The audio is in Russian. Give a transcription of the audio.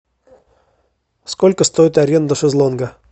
сколько стоит аренда шезлонга